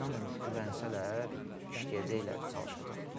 Yəni inanın güvənsələr, işləyəcəklər, çalışacaqlar.